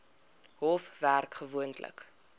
hof werk gewoonlik